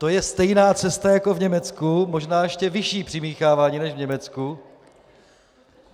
To je stejná cesta jako v Německu, možná ještě vyšší přimíchávání než v Německu.